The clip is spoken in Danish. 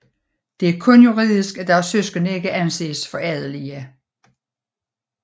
Det er kun juridisk at deres søskende ikke anses for adelige